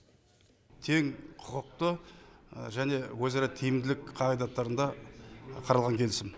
тең құқықты және өзара тиімділік қағидаттарында қаралған келісім